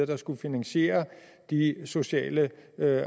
der skulle finansiere de sociale